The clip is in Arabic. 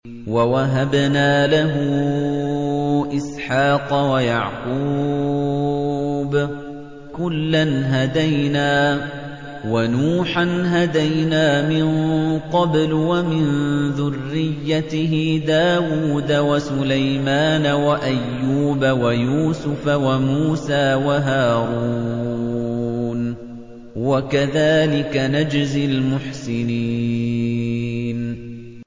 وَوَهَبْنَا لَهُ إِسْحَاقَ وَيَعْقُوبَ ۚ كُلًّا هَدَيْنَا ۚ وَنُوحًا هَدَيْنَا مِن قَبْلُ ۖ وَمِن ذُرِّيَّتِهِ دَاوُودَ وَسُلَيْمَانَ وَأَيُّوبَ وَيُوسُفَ وَمُوسَىٰ وَهَارُونَ ۚ وَكَذَٰلِكَ نَجْزِي الْمُحْسِنِينَ